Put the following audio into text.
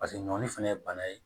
Paseke ɲɔni fana ye bana ye